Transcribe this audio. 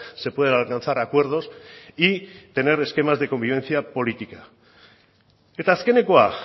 se pueden alcanzar acuerdos y tener esquemas de convivencia política eta azkenekoa